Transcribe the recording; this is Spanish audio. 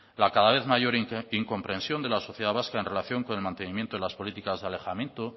la cada vez mayor incomprensión de la sociedad vasca en relación con el mantenimiento de las políticas de alejamiento